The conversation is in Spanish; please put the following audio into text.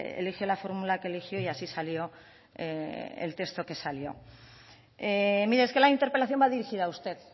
elige la fórmula que eligió y así salió el texto que salió mire es que la interpelación va dirigida a usted